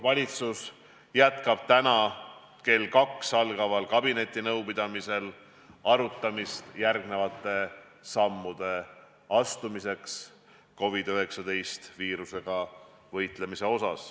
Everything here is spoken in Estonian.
Valitsus jätkab täna kell 14 algaval kabinetinõupidamisel arutelu järgmiste sammude astumiseks COVID-19 viirusega võitlemisel.